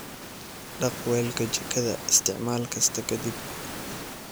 Dhaq weelka jikada isticmaal kasta ka dib.